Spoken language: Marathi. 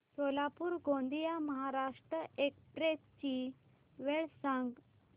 सोलापूर गोंदिया महाराष्ट्र एक्स्प्रेस ची वेळ सांगा